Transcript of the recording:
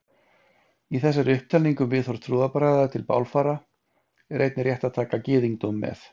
Í þessari upptalningu um viðhorf trúarbragða til bálfara er einnig rétt að taka gyðingdóm með.